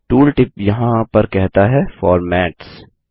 tooltip यहाँ पर कहता है फॉर्मेट्स